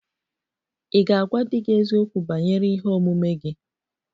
Ị̀ ga-agwa di gị eziokwu banyere ihe omume gị?